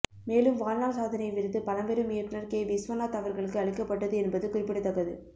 மேலும் வாழ்நாள் சாதனை விருது பழம்பெரும் இயக்குனர் கே விஸ்வநாத் அவர்களுக்கு அளிக்கப்பட்டது என்பது குறிப்பிடத்தக்கது